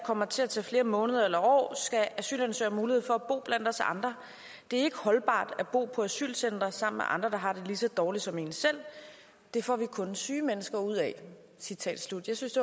kommer til at tage flere måneder eller år skal asylansøgere have mulighed for at bo blandt os andre det er ikke holdbart at bo på asylcentre sammen med andre der har det lige så dårligt som en selv det får vi kun syge mennesker ud af citat slut jeg synes